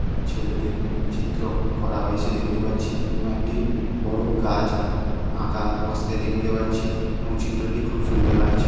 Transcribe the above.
ছেলেদের চিত্র করা হয়েছে দেখতে পাচ্ছি এবং একটি বড় গাছ আঁকা অবস্থায় দেখতে পাচ্ছি এবং চিত্রটি খুব সুন্দর লাগছে ।